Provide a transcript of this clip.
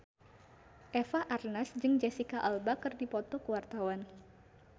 Eva Arnaz jeung Jesicca Alba keur dipoto ku wartawan